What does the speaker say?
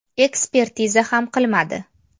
Ekspertiza ham qilmadi.